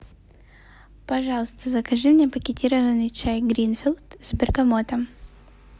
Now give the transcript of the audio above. пожалуйста закажи мне пакетированный чай гринфилд с бергамотом